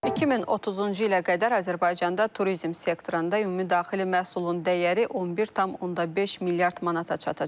2030-cu ilə qədər Azərbaycanda turizm sektorunda ümumdaxili məhsulun dəyəri 11,5 milyard manata çatacaq.